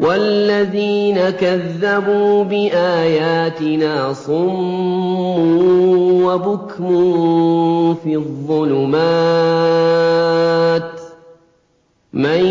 وَالَّذِينَ كَذَّبُوا بِآيَاتِنَا صُمٌّ وَبُكْمٌ فِي الظُّلُمَاتِ ۗ مَن